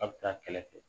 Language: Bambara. A bɛ taa kɛrɛfɛ